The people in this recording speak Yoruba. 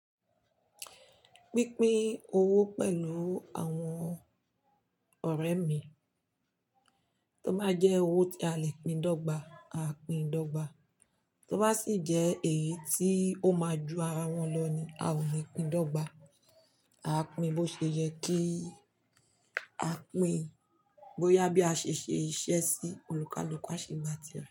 Pínpín owó pẹ̀lú àwọn ọ̀rẹ́ mi, tó bá jẹ́ owó tí a lè pín dọ́gba, aa pín dọ́gba, tó bá sì jẹ́ èyí tí ó máa ju arawọn lọ ni, a ò ní pín dọ́gba, aa pín bó ṣe yẹ kí a pín, bóyá bí a ṣe ṣe iṣẹ́ sí olùkalùkà a ṣe gba ti e.